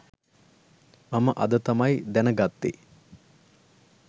මම අද තමයි දැන ගත්තේ